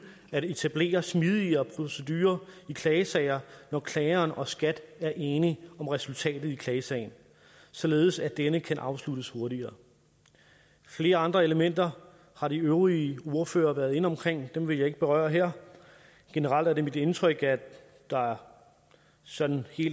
at etablere smidigere procedurer i klagesager når klageren og skat er enige om resultatet af klagesagen således at denne kan afsluttes hurtigere flere andre elementer har de øvrige ordførere været inde omkring dem vil jeg ikke berøre her generelt er det mit indtryk at der sådan